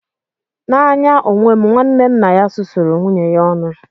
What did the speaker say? N'anya onwe m, nwanne nna ya susuru nwunye ya ọnụ.